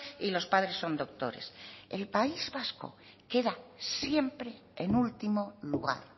y los padres son doctores el país vasco queda siempre en último lugar